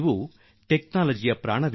ಇದು ತಂತ್ರಜ್ಞಾನದ ಪ್ರಾಣ